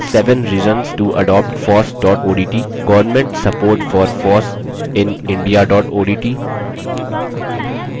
sevenreasonstoadoptfoss odt governmentsupportforfossinindia odt